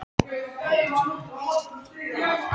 Í hópi þjóðsagnasafnara frá þessum tíma eru Englendingurinn